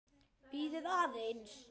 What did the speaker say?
Bíðið aðeins!